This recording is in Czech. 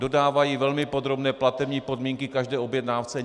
Dodávají velmi podrobné platební podmínky každé objednávce.